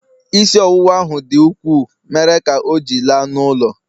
isi ọwụwa ahụ dị ukwuu, mere ka ọ ji la n'ụlọ